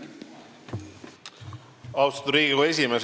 Austatud Riigikogu esimees!